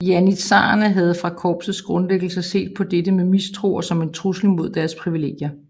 Janitsharerne havde fra korpsets grundlæggelse set på dette med mistro og som en trussel mod deres privilegier